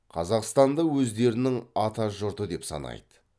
қазақстанды өздерінің ата жұрты деп санайды